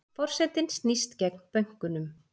Forsetinn snýst gegn bönkunum